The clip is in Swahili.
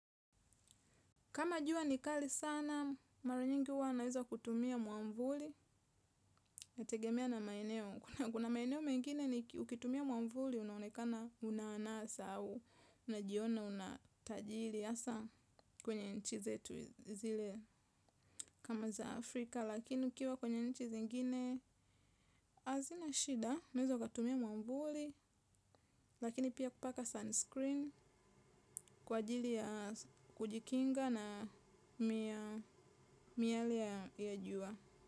Kama jua ni kali sana, mara nyingi huwa naeza kutumia mwavuli nategemea na maeneo kuna maeneo mengine ukitumia mwamvuli, unaonekana una anasa au unajiona una tajiri hasa kwenye nchi zetu zile kama za Afrika. Lakini ukiwa kwenye nchi zingine hazina shida. Unaweza ukatumia mwavuli, lakini pia kupaka sunscreen kwa ajili ya kujikinga na miale ya jua.